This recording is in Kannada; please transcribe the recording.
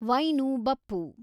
ವೈನು ಬಪ್ಪು